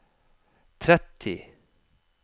tretti